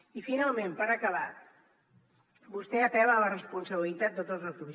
i finalment per acabar vostè apel·la a la responsabilitat de tots els grups